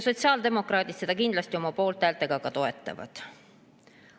Sotsiaaldemokraadid seda kindlasti oma poolthäältega ka toetavad.